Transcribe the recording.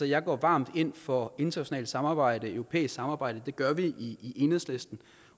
jeg går varmt ind for internationalt samarbejde europæisk samarbejde det gør vi i enhedslisten